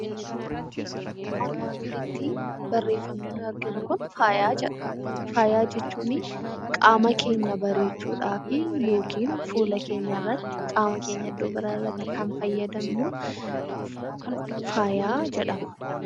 Faaya jechuun qaama keenya bareechuuf yookaan fuula keenyarratti qaama keenya iddoo biraarratti kan fayyadamnu faaya jedhama